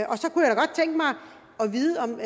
vide om